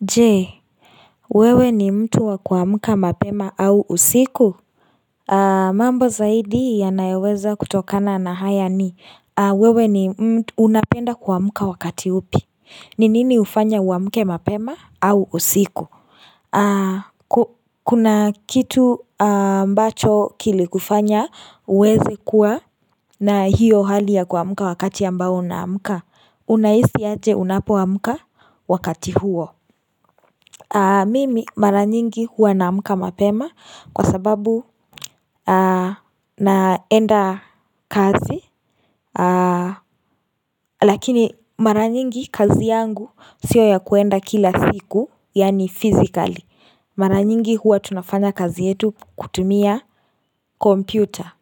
Jee wewe ni mtu wa kuamka mapema au usiku mambo zaidi ya naeweza kutokana na haya ni wewe ni unapenda kuamuka wakati upi ni nini ufanya uamuke mapema au usiku Kuna kitu ambacho kilikufanya uweze kuwa na hiyo hali ya kuamuka wakati ambao unamuka unaisi yote unapo amka wakati huo Mimi mara nyingi huwa namka mapema kwa sababu naenda kazi Lakini mara nyingi kazi yangu sio ya kwenda kila siku yaani fizikali Mara nyingi huwa tunafanya kazi yetu kutumia kompyuta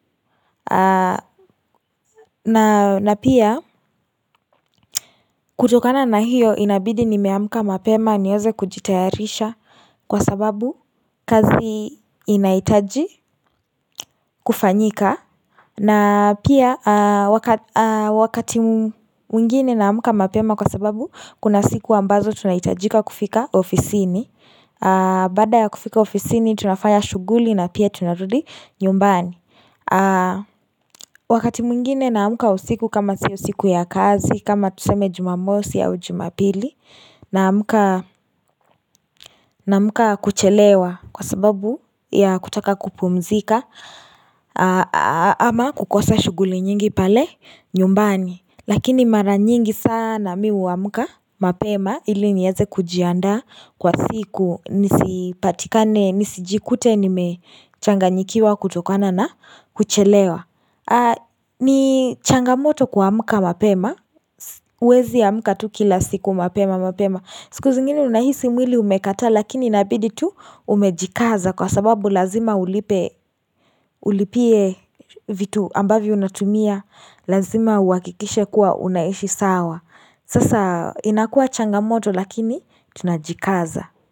na pia kutokana na hiyo inabidi nimeamka mapema niyoze kujitayarisha Kwa sababu kazi inaitaji kufanyika na pia wakati mwingine naamka mapema kwa sababu Kuna siku ambazo tunaitajika kufika ofisini baada ya kufika ofisini tunafaya shughuli na pia tunarudi nyumbani Wakati mwingine namka usiku kama si usiku ya kazi kama tuseme jumamosi ya ujimapili Namka kuchelewa kwa sababu ya kutaka kupumzika Ama kukosa shughuli nyingi pale nyumbani Lakini mara nyingi sana miu wa mka mapema ili nyeze kujianda kwa siku nisipatikane nisijikute nimechanganyikiwa kutokana na kuchelewa ni changamoto kwa kuamka mapema Wezi ya muka tu kila siku mapema mapema siku zingini unahisi mwili umekata lakini inabidi tu umejikaza kwa sababu lazima ulipie vitu ambavyo unatumia lazima uwakikishe kuwa unaishi sawa sasa inakuwa changamoto lakini tunajikaza.